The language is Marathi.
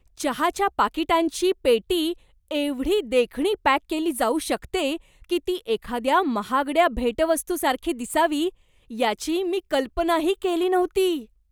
चहाच्या पाकिटांची पेटी एवढी देखणी पॅक केली जाऊ शकते की ती एखाद्या महागड्या भेटवस्तूसारखी दिसावी, याची मी कल्पनाही केली नव्हती.